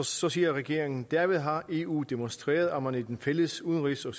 så siger regeringen derved har eu demonstreret at man i den fælles udenrigs og